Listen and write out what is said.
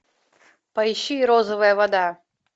поищи розовая вода